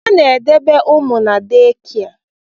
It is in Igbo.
A na-edebe ụmụ na dekịa